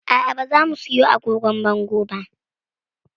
A'a ba za mu siyo agogon bango ba